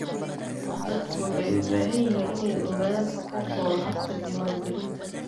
Dadku waxay u baahan yihiin inay ogaadaan xuquuqdooda habka diiwaangelinta.